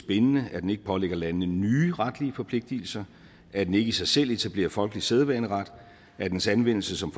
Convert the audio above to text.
bindende at den ikke pålægger landene nye retlige forpligtelser at den ikke i sig selv etablerer folkelig sædvaneret at dens anvendelse som